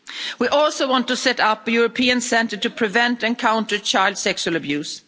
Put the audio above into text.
We also want to set up a European centre to prevent and counter child sexual abuse.